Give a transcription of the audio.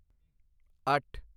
ਅੱਠ